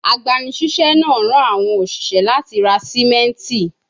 Agbanisiṣẹ naa ran awọn oṣiṣẹ lati ra simenti